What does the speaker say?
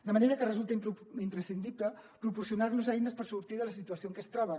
de manera que resulta imprescindible proporcionar los eines per sortir de la situació en què es troben